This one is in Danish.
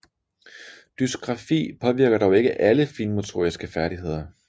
Dysgrafi påvirker dog ikke alle finmotoriske færdigheder